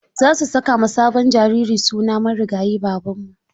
Za su saka ma sabon jariri sunan marigayi Babanmu.